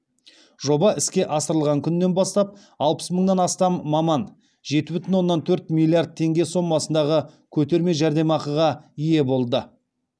жоба іске асырылған күннен бастап алпыс мыңнан астам маман жеті бүтін оннан төрт миллиард теңге сомасындағы көтерме жәрдемақыға ие болды